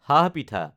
সাহ পিঠা